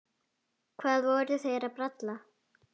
Hvað voru þeir að bralla?